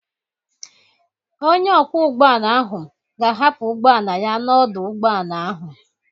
Onye ọkwọ ụgbọala ahụ ga-ahapụ ụgbọ ala ya n'ọdụ ụgbọala ahụ.